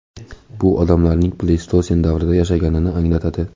Bu odamlarning pleystosen davrida yashaganini anglatadi.